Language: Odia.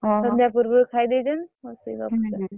। ସନ୍ଧ୍ୟା ପୁର୍ବରୁ ଖାଇ ଦେଇଛନ୍ତି ବସି ଗପୁଛନ୍ତି। ହୁଁ ହୁଁ।